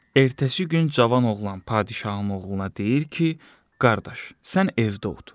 Ertəsi gün cavan oğlan padşahın oğluna deyir ki, qardaş, sən evdə otur.